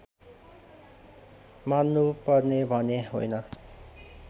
मान्नुपर्ने भने होइन